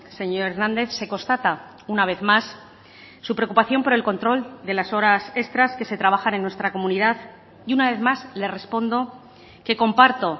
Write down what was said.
señor hernández se constata una vez más su preocupación por el control de las horas extras que se trabajan en nuestra comunidad y una vez más le respondo que comparto